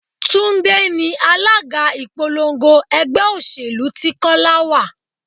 Túndé ni alága ìpolongo ẹgbẹ́ òṣèlú tí Kọ́lá wá.